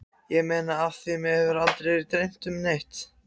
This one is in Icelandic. Ég meina af því mig hefur aldrei dreymt neitt.